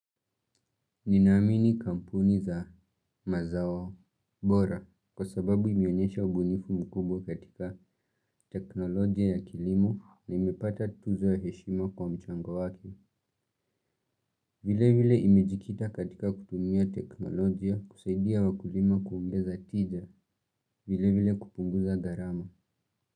Ninaamini kampuni za mazao. Bora, kwa sababu imeonyesha ubunifu mkubwa katika teknolojia ya kilimo na imepata tuzo ya heshima kwa mchango wake. Vile vile imejikita katika kutumia teknolojia kusaidia wakulima kuongeza tija. Vile vile kupunguza gharama.